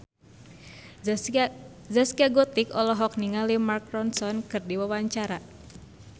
Zaskia Gotik olohok ningali Mark Ronson keur diwawancara